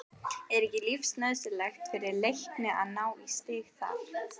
Er ekki lífsnauðsynlegt fyrir Leikni að ná í stig þar?